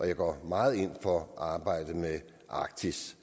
jeg går meget ind for arbejdet med arktis